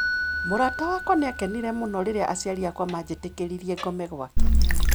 Mũrata wakwa nĩ aakenire mũno rĩrĩa aciari akwa maanjĩtĩkĩririe ngome gwake.